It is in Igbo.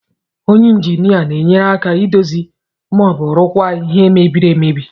Onye injinia na-enyere aka idozi ma ọ bụ rụkwaa ihe mbiri amebi.